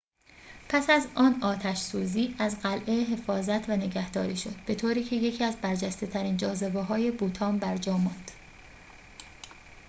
پس از آن آتش‌سوزی از قلعه حفاظت و نگهداری شد به‌طوری که یکی از برجسته‌ترین جاذبه‌های بوتان برجا ماند